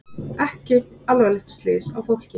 Ekki alvarleg slys á fólki